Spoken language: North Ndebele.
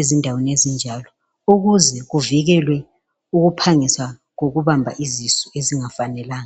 endaweni ezinjalo ukuze kuvikele ukuphangisa kokubanjwa kwezisu ezingafanelanga